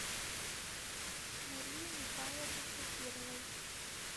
марии михайловны шакировой